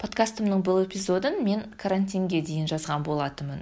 подкастымның бұл эпизодын мен карантинге дейін жазған болатынмын